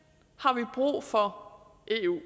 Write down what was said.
og for eu